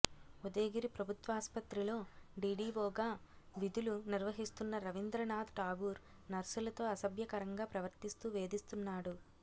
ఉదయగిరి ప్రభుత్వాసుపత్రిలో డీడీవోగా విధులు నిర్వహిస్తున్న రవీంద్రనాథ్ ఠాగూర్ నర్సులతో అసభ్యకరంగా ప్రవర్తిస్తూ వేధిస్తున్నాడు